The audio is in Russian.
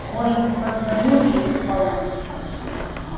может позвоню если получится